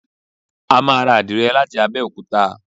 A máa ra àdìrẹ láti Abẹ́òkúta.